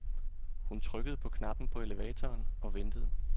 Hun trykkede på knappen på elevatoren og ventede.